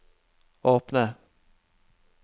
åpne